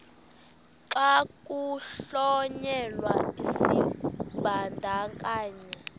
xa kuhlonyelwa isibandakanyi